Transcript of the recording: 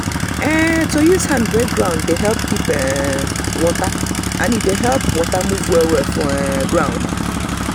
to use hand break um ground dey help keep um water and e dey help water move well for um ground.